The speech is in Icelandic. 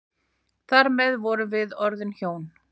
Þar með vorum við orðin hjón.